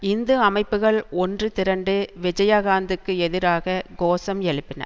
இந்து அமைப்புகள் ஒன்று திரண்டு விஜயகாந்துக்கு எதிராக கோஷம் எழுப்பின